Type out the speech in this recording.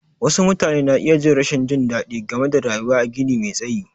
Wasu mutane na iya jin rashin jin daɗi game da rayuwa a gini me tsayi.